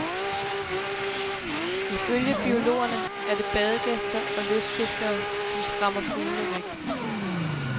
Ifølge biologerne er det badegæster og lystfiskere, som skræmmer fuglene væk.